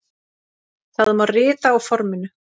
Það má rita á forminu